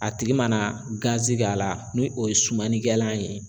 A tigi mana gazi k'a la, ni o ye sumanikɛlan ye.